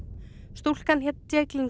stúlkan hét